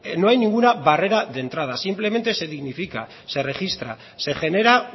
no hay ninguna barrera de entrada simplemente se dignifica se registra se genera